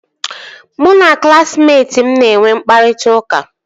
Mụ na klaasịmetị m na-enwe mkpakọrịta